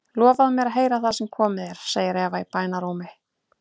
Lofaðu mér að heyra það sem komið er, segir Eva í bænarrómi.